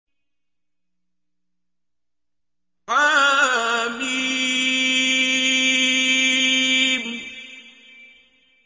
حم